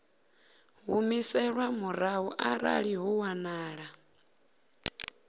humiselwa murahu arali ho wanala